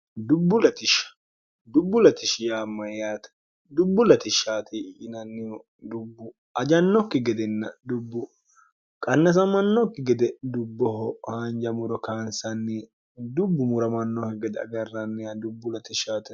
dubbu latishi yaamma yaate dubbu ltishshti inannihu dubbu ajannokki gedenn dubbu qannasamannokki gede dubboho haanjamuro kaansanni dubbu muramannokki gede agarranniha dubbu ltshsh